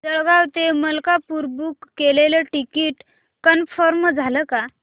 जळगाव ते मलकापुर बुक केलेलं ticket confirm झालं का